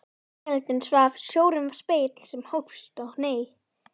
Veröldin svaf, sjórinn var spegill sem hófst og hneig.